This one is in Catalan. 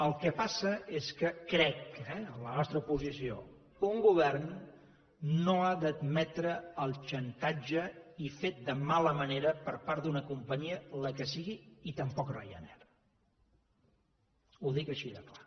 el que passa és que crec eh en la nostra posició un govern no ha d’admetre el xantatge i fet de mala manera per part d’una companyia la que sigui i tampoc ryanair ho dic així de clar